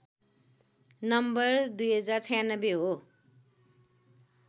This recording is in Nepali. नम्बर ०९६ हो